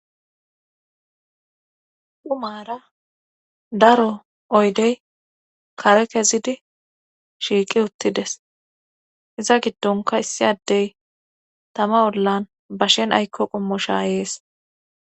umaara daro oydey kare kezidi shiiqi uttides iza giddonka issi addey tama ollan bashen aykko qommo shaayees.